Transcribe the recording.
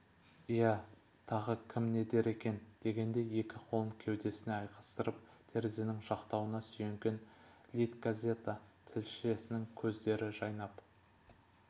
иә тағы кім не дер екен дегендей екі қолын кеудесіне айқастырып терезенің жақтауына сүйенген литгазета тілшісінің көздер жайнап